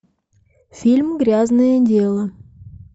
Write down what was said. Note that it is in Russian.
фильм грязное дело